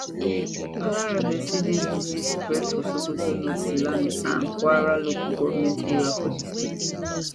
balarabe say di disease spread for sokoto north silame and kware local goment areas for di state